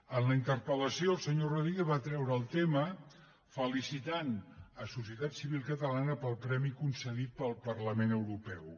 en la interpel·lació el senyor rodríguez va treure el tema felicitant societat civil catalana pel premi concedit pel parlament europeu